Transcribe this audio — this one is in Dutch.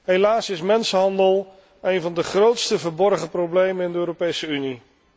Helaas is mensenhandel een van de grootste verborgen problemen in de Europese Unie.